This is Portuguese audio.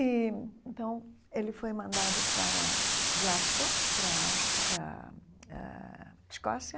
E então, ele foi mandado para Glasgow, para a Áus para a eh Escócia.